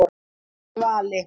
Svali